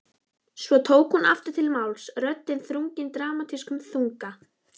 Svo tók hún aftur til máls, röddin þrungin dramatískum þunga